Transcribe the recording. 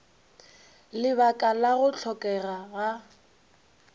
lebaka la go hlokega ga